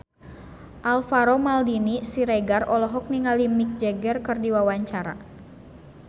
Alvaro Maldini Siregar olohok ningali Mick Jagger keur diwawancara